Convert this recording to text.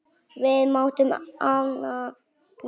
Við mátum hana mikils.